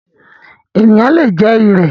Ènìyàn le jẹ “ ìrẹ̀”.